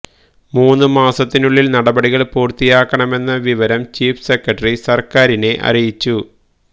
മൂന്ന് മാസത്തിനുള്ളില് നടപടികള് പൂര്ത്തിയാക്കണമെന്ന വിവരം ചീഫ് സെക്രട്ടറി സര്ക്കാരിനെ അറിയിച്ചു